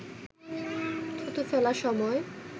থুতু ফেলার সময়